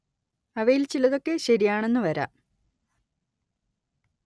അവയിൽ ചിലതൊക്കെ ശരിയാണെന്ന് വരാം